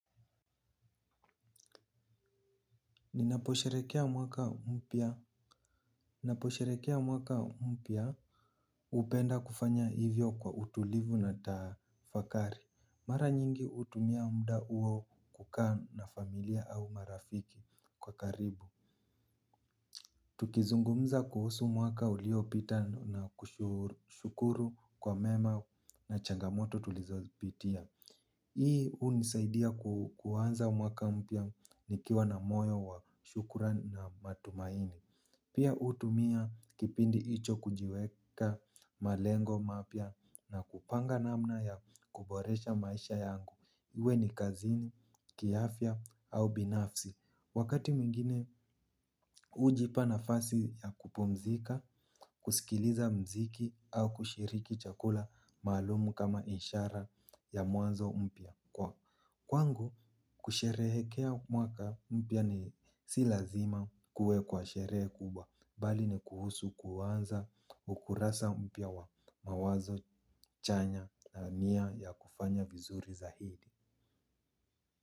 Ninaposherehekea mwaka mpya hupenda kufanya hivyo kwa utulivu na tafakari mara nyingi hutumia muda huo kukaa na familia au marafiki kwa karibu. Tukizungumza kuhusu mwaka uliopita na kushukuru kwa mema na changamoto tulizopitia hii hunisaidia kuanza mwaka umpya nikiwa na moyo wa shukran na matumaini. Pia hutumia kipindi hicho kujiweka malengo mapya na kupanga namna ya kuboresha maisha yangu iwe ni kazini kiafya au binafsi wakati mwingine hujipa nafasi ya kupumzika kusikiliza mziki au kushiriki chakula maalum kama ishara ya mwanzo mpya. Kwa kwangu kusherehekea mwaka mpya ni si lazima kuwe kwa sherehe kubwa bali ni kuhusu kuanza ukurasa mpya wa mawazo chanya niya ya kufanya vizuri zaidi.